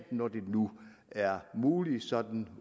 når det nu er muligt sådan